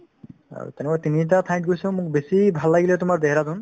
আৰু এনেকৈ তিনিটা ঠাইত গৈছো মোক বেছি ভাল লাগিলে তোমাৰ দেহৰাদুন